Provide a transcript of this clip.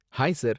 Hi sir.